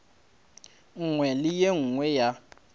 nngwe le e nngwe ya